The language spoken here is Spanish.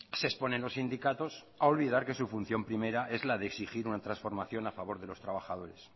se exponen los sindicatos a olvidar que su función primera es la de exigir una transformación a favor de los trabajadores